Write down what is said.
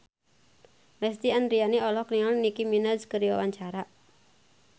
Lesti Andryani olohok ningali Nicky Minaj keur diwawancara